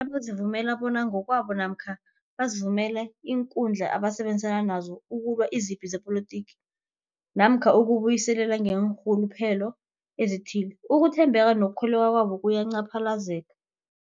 nabazivumela bona ngokwabo namkha bavumele iinkundla abasebenza kizo ukulwa izipi zepolitiki namkha ukuzi buyiselela ngeenrhuluphelo ezithileko, ukuthembeka nokukholweka kwabo kuyacaphaze